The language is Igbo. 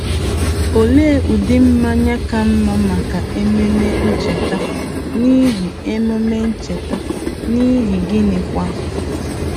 Olee ụdị mmanya ka mma maka Ememe Ncheta, n'ihi Ememe Ncheta, n'ihi gịnịkwa?